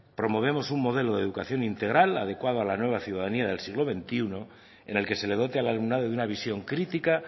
promovemos un modelo de educación integral adecuado a la nueva ciudadanía del siglo veintiuno en el que se le dote al alumnado de una visión crítica